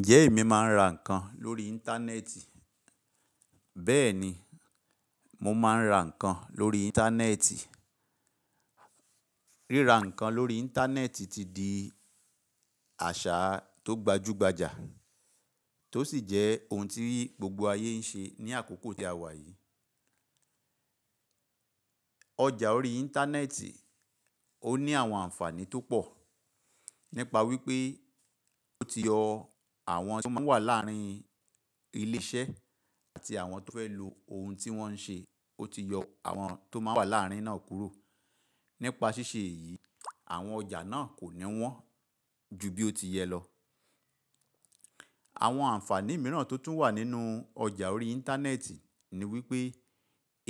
Ǹjẹ́ èmi máa ń ra nǹkan lórí Íńtánẹ́ẹ̀tì? Bẹ́ẹ̀ni, mo máa ń ra nǹkan lórí Íńtánẹ́ẹ̀tì. Ríra nǹkan lórí Íńtánẹ́ẹ̀tì ti di àṣà tó gbajúgbajà, tó sì jẹ́ ohun tí gbogbo ayé ń ṣe ní àkókò tí a wà Ọjà orí Íńtánẹ́ẹ̀tì, ó ní àwọn àǹfààní tó pọ̀ nípa wípé ó ti yọ àwọn tí ó máa ń wà láàárín ilé iṣẹ́ àti àwọn tó fẹ́ lo ohun tí wọ́n ń ṣe, ó ti yọ àwọn tó máa ń wà láàárín náà kúrò. Nípa ṣíṣe èyí, àwọn ọjà náà kò ní wọ́n ju bí ó ti yẹlọ Àwọn àǹfààní mìíràn tó tún wà nínú ọjà orí Íńtánẹ́ẹ̀tì ni wípé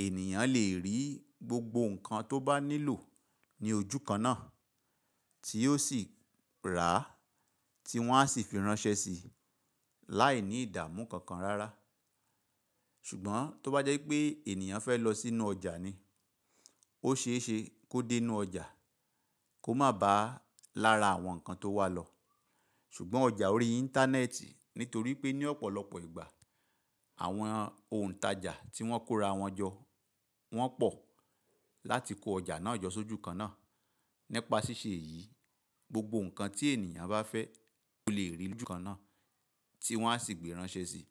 ènìyàn lè rí gbogbo nǹkan tó bá nílò ní ojú kan náà tí yóò sì rà á, tí wọ́n á sì fi ránṣẹ́ sí i láìní ìdààmú kankan rárá. Ṣùgbọ́n tó bá jẹ́ pé ènìyàn fẹ́ lọ sínú ọjà ni, ó ṣe é ṣe kó dé inú ọjà, kó má ba lára àwọn nǹkan tó wà lọ. Ṣùgbọ́n ọjà orí Íńtánẹ́ẹ̀tì, nítorí pé ní ọ̀pọ̀lọpọ̀ ìgbà àwọn òuǹtajà tí wọ́n kóra wọn jọ wọ́n pọ̀ láti kó ọjà náà jọ sójú kan náà. Nípa ṣíṣe èyí, gbogbo nǹkan tí ènìyàn bá fẹ́, lè rí í lójú kan náà tí wọ́n á sì gbé ránṣẹ́ sí i.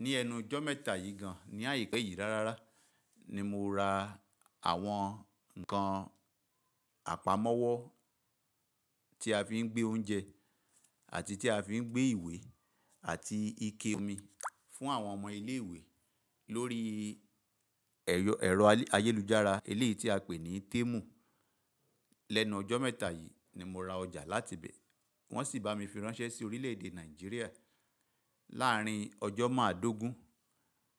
Ní ẹnu ijọ́ mẹ́ta yìí gan-an, ní àipẹ̀yìí rárá, ni mo ra àwọn nǹkan àpamọ́wọ́ tí a fi ń gbé oúnjẹ àti tí a fi ń gbé ìwé àti ike omi fún àwọn ọmọ ilé ìwé lórí ẹ̀rọ ayélujára, eléyìí tí a pè ní Temù. Lẹ́nu ọjọ́ mẹ́ta yìí ni mo ra ọjà láti bẹ. Wọ́n sì bá mi fi ránṣẹ́ sí orílè-èdè Nàìjíríà. Láàárín ọjọ́ máa dógún,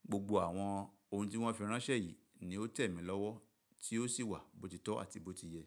gbogbo àwọn ohun tí wọ́n fi ránṣẹ́ yìí ni ó tẹ̀ mí lọ́wọ́ tí ó sì wà bó ti tọ́ àti bó ti yẹ.